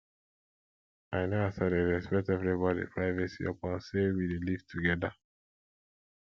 i know as i dey respect everybodi privacy upon sey we dey live togeda